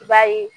I b'a ye